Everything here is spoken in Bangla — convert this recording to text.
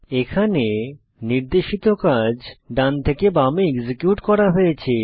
এখানে নির্দেশিত কাজ ডান থেকে বামে এক্সিকিউট করা হয়েছে